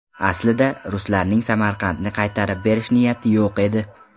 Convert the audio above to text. Aslida, ruslarning Samarqandni qaytarib berish niyati yo‘q edi.